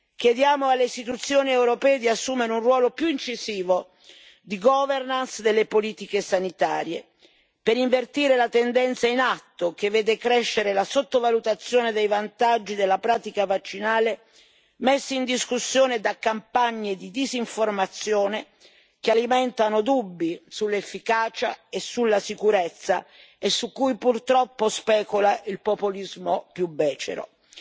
Chiediamo alle Istituzioni europee di assumano un ruolo più incisivo di governance delle politiche sanitarie per invertire la tendenza in atto, che vede crescere la sottovalutazione dei vantaggi della pratica vaccinale, messi in discussione da campagne di disinformazione che alimentano dubbi sull'efficacia e sulla sicurezza e su cui, purtroppo, specula il populismo più becero. Spetta